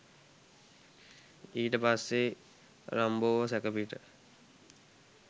ඊට පස්සේ රම්බෝව සැකපිට